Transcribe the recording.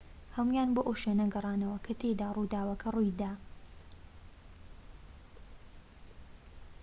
هەموویان بۆ ئەو شوێنە گەڕانەوە کە تیایدا ڕووداوەکە ڕوویدا